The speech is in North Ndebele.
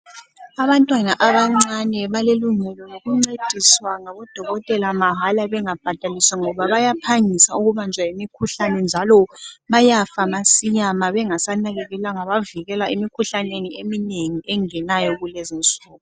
Abantwana abancane balelungelo lokuncediswa ngabodokotela mahala bengabhadaliswa ngoba bayaphangisa ukubanjwa yimikhuhlane njalo bayafa masinya mabengasa nakekelwanga bavikela imikhuhlane eminengi engenayo kulezinsuku.